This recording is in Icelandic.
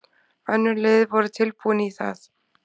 Önnur lið voru tilbúin í það.